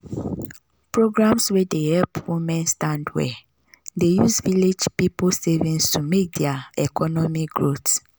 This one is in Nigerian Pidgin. programs wey dey help women stand well dey use village people savings to make their economy growth